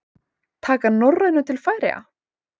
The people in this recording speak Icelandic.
Taka Norrænu til Færeyja?